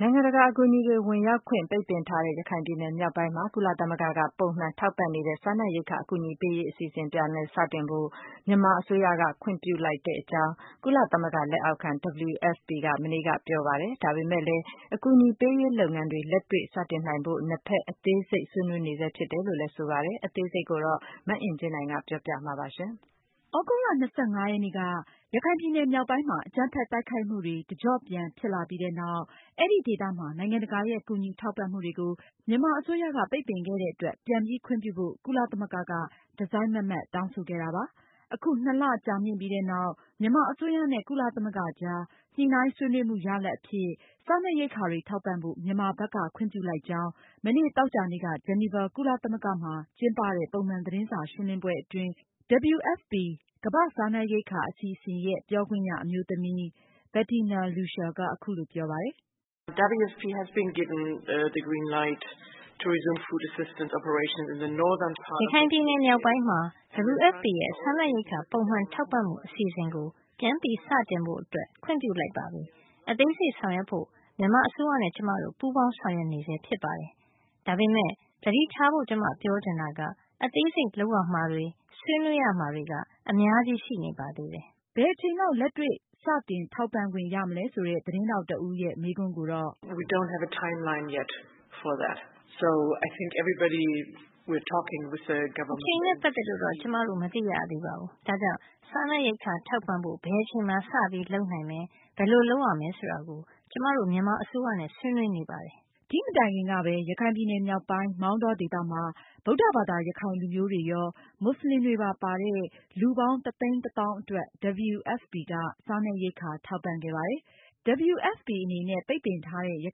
နိုင်ငံတကာအကူအညီတွေဝင်ရောက်ခွင့် ပိတ်ပင်ထားတဲ့ ရခိုင်ပြည်နယ်မြောက်ပိုင်းမှာ ကုလသမဂ္ဂက ပုံမှန် ထောက်ပံ့နေတဲ့ စားနပ်ရိက္ခာအကူအညီပေးရေးအစီစဉ်ကို ပြန်လည်စတင်ဖို့ မြန်မာအစိုးရ ဘက်က ခွင့်ပြုလိုက်ကြောင်း ကုလသမဂ္ဂလက်အောက်ခံ WFP က မနေ့က ပြောကြားလိုက်ပါတယ်။ ဒါပေမယ့်လည်း အကူအညီပေးရေး လုပ်ငန်းတွေ လက်တွေ့ စတင်နိုင်ဖို့ နှစ်ဖက် အသေးစိတ် ဆွေးနွေးနေဆဲဖြစ်တယ်လို့ ဆိုပါတယ်။ မအင်ကြင်းနိုင်က အသေးစိတ်ပြောပြမှပါ။ သြဂုတ်လ ၂၅ ရက်နေ့က ရခိုင်ပြည်နယ်မြောက်ပိုင်းမှာ အကြမ်းဖက်တိုက်ခိုက်မှုတွေ တကြော့ပြန်ဖြစ် လာပြီးနောက် အဲဒီဒေသမှာ နိုင်ငံတကာရဲ့ ကူညီထောက်ပံမှုတွေကို မြန်မာအစိုးရက ပိတ်ပင်ခဲ့တဲ့အတွက် ပြန်ပြီးခွင့်ပြုဖို့ ကုလသမဂ္ဂက တစိုက် မတ်မတ်တောင်းဆိုခဲ့တာပါ။ အခု ၂ လကြာမြင့်ပြီးနောက် မြန်မာအစိုးရနဲ့ ကုလသမဂ္ဂကြား ညှိုနှိုင်း ဆွေးနွေးမှုရလာဒ်အဖြစ် စားနပ်ရိက္ခာတွေ ထောက်ပံဖို့ မြန်မာဘက်က ခွင့်ပြုလိုက်ကြောင်း မနေ့ သောကြာနေ့က ဂျီနီဗာ ကုလသမဂ္ဂမှာ ကျင်းပတဲ့ ပုံမှန်သတင်းစာရှင်းလင်းပွဲအတွင်း WFP ကမ္ဘာ့စားနပ်ရိက္ခာအစီအစဉ် ပြောခွင့်ရအမျိုးသမီး Bettina Luescher က အခုလိုပြောပါတယ်။ "ရခိုင်ပြည်နယ်မြောက်ပိုင်းမှာ WFP ရဲ့ စားနပ်ရိက္ခာ ပုံမှန်ထောက်ပံမှုအစီအစဉ်ကို ပြန်ပြီးစတင်ဖို့ ခွင့်ပြုလိုက်ပါပြီ။ အသေးစိတ်ဆောင်ရွက်ဖို့ မြန်မာအစိုးရနဲ့ ကျမတို့ ပူးပေါင်းဆောင်ရွက်နေဆဲဖြစ်ပါတယ်။ ဒါပေမယ့် သတိထားဖို့ ကျမပြောချင်တာက အသေးစိတ်လုပ်ရမှာတွေ၊ ဆွေးနွေးရမှာတွေက အများကြီး ရှိနေပါသေးတယ်။" ဘယ်အချိန်လောက် လက်တွေ့စတင် ထောက်ပံခွင့်ရမလဲဆိုတဲ့ သတင်းထောက်တဦးရဲ့ မေးခွန်းကိုတော့- "အချိန်နဲ့ ပတ်သက်လို့တော့ ကျမတို့ မသိရသေးပါဘူး။ ဒါကြောင့် စားနပ်ရိက္ခာ ထောက်ပံဖို့ ဘယ်အချိန်မှာ စတင်လုပ်နိုင်သလဲ၊ ဘယ်လိုလုပ်ရမလဲဆိုတာကို ကျမတို့ မြန်မာအစိုးရနဲ့ ဆွေးနွေးနေပါတယ်။" ဒီမတိုင်ခင်ကပဲ ရခိုင်ပြည်နယ်မြောက်ပိုင်း မောင်တောဒေသမှာ ဗုဒ္ဓဘာသာ ရခိုင်လူမျိုးတွေရော မွတ်စလင်တွေ ပါတဲ့ လူပေါင်း ၁၁၀,၀၀၀ အတွက် WFP က စားနပ်ရိက္ခာထောက်ပံ့ခဲ့ပါတယ်။ WFP အနေနဲ့ ပိတ်ပင်ထားတဲ့ ရ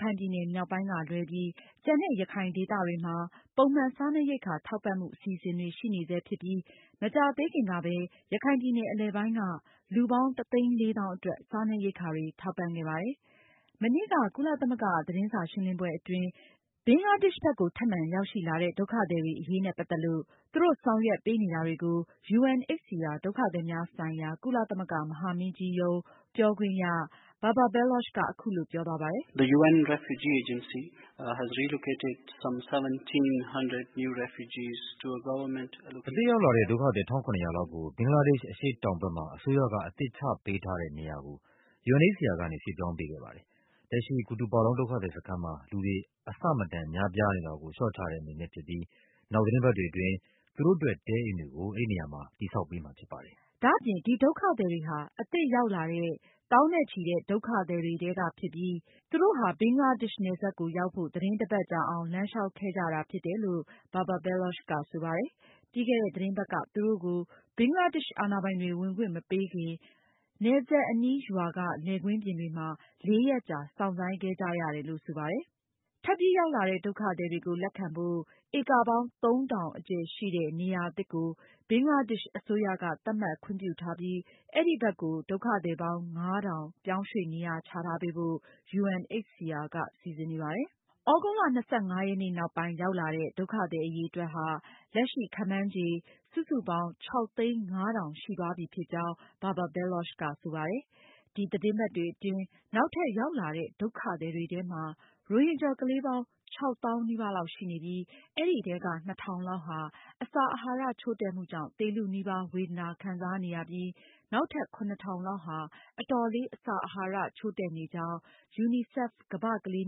ခိုင်ပြည်နယ် မြောက်ပိုင်းကလွဲပြီး ကျန်တဲ့ ရခိုင်ဒေသတွေမှာ ပုံမှန် စားနပ်ရိက္ခာထောက်ပံ့မှုအစီအစဉ်တွေ ရှိနေဆဲဖြစ်ပြီး မကြာသေးခင်ကပဲ ရခိုင်ပြည်နယ် အလယ်ပိုင်းက လူပေါင်း ၁၄၀,၀၀၀ အတွက် စားနပ်ရိက္ခာတွေ ထောက်ပံခဲ့ပါတယ်။ မနေ့က ကုလသမဂ္ဂ သတင်းစာရှင်းလင်းပွဲအတွင်း ဘင်္ဂလားဒေ့ရှ်ဘက်ကို ထပ်မံရောက်ရှိလာခဲတဲ့ ဒုက္ခသည်တွေအရေးနဲ့ ပတ်သက်လို့ သူတို့ဆောင်ရွက်ပေးနေတာတွေကို UNHCR ဒုက္ခသည်များဆိုင်ရာ ကုလသမဂ္ဂမဟာမင်းကြီးရုံး ပြောခွင့်ရ Babar Baloch က အခုလို ပြောသွားပါတယ်။ "အသစ်ရောက်ရှိလာတဲ့ ဒုက္ခသည် ၁,၇၀၀ လောက်ကိုဘင်္ဂလားဒေ့ရှ် အရှေ့တောင်ဘက် အစိုးရက အသစ် ချပေးထားတဲ့ နေရာဘက်ကို UNHCR ကနေ ရွှေ့ပြောင်းပေးခဲ့ပါတယ်။ လက်ရှိ Kutupalong ဒုက္ခသည်စခန်းမှာ လူတွေအလွန်အမင်းများပြားနေတာကို လျော့ချတဲ့အနေနဲ့ ဖြစ်ပြီး နောက်သတင်းပတ်တွေအတွင်း သူတို့အတွက် တဲအိမ်တွေကို အဲဒီနေရာမှာ တည်ဆောက်ပေးမှာဖြစ်ပါတယ်။" ဒါအပြင် ဒီဒုက္ခသည်တွေဟာ အသစ်ရောက်လာတဲ့ သောင်းနဲ့ချီတဲ့ ဒုက္ခသည်တွေထဲက ဖြစ်ပြီး သူတို့ဟာ ဘင်္ဂလားဒေ့ရှ်နယ်စပ်ကိုရောက်ဖို့ သတင်း တပတ်ကြာအောင် လမ်းလျှောက်ခဲ့ကြတာဖြစ်တယ်လို့ Babar Baloch ကဆိုပါတယ်။ ပြီးခဲ့တဲ့ သတင်းပတ်က သူတို့ကို ဘင်္ဂလားဒေ့ရှ်အာဏာပိုင်တွေ ဝင်ခွင့်မပေးခင် နယ်စပ်က ရွာ လယ်ကွင်းပြင်တွေမှာ ၄ ရက်ကြာ စောင့်ဆိုင်းခဲ့ကြသူတွေဖြစ်ပါတယ်။ ထပ်ပြီးရောက်လာတဲ့ ဒုက္ခသည်တွေကို လက်ခံဖို့ ဧကပေါင်း ၃၀၀၀ အကျယ်ရှိတဲ့ နေရာသစ်ကိုဘင်္ဂလားဒေ့ရှ်အစိုးရက သတ်မှတ်ခွင့်ပြုထားပြီး အဲဒီဘက်ကို ဒုက္ခသည်ပေါင်း ၅,၀၀၀ ပြောင်းရွှေ့နေချထားပေးဖို့ UNHCR ကစီစဉ်နေပါတယ်။သြဂုတ်လ ၂၅ ရက်နောက်ပိုင်းရောက်ရှိလာတဲ့ ဒုက္ခသည်အရေအတွက် လက်ရှိ ခန့်မှန်းခြေ စုစုပေါင်း ၆၀၅,၀၀၀ ရှိသွားပြီဖြစ်ကြောင်း Babar Baloch ကဆိုပါတယ်။ ဒီသတင်းပတ်တွေအတွင်း နောက်ထပ်ရောက်လာတဲ့ ဒုက္ခသည်တွေထဲမှာ ရိုဟင်ဂျာ ကလေးပေါင်း ၆၀,၀၀၀ နီးပါးလောက်ရှိနေပြီး အဲဒီထဲက ၂,၀၀၀ လောက်ဟာ အစာအဟာရ ချို့တဲ့မှုကြောင့်သေလုနီးပါး ဝေဒနာခံစားနေရပြီး နောက်ထပ် ၇,၀၀၀ လောက်ဟာလဲ အတော်လေး အစာအဟာရ ချို့တဲ့နေကြောင်းUNICEF ကမ္ဘာ့ကလေး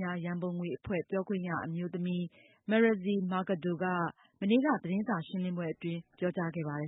များရံပုံငွေအဖွဲ့ ပြောခွင့်ရအမျိုးသမီး Marixie Mercado ကလည်း သတင်းစာရှင်းလင်းပွဲအတွင်း ပြောကြားခဲ့ပါတယ်